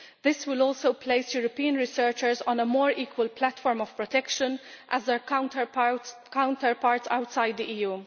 This will also place European researchers on a more equal platform of protection with their counterparts outside the EU.